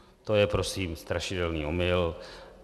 To je prosím strašidelný omyl.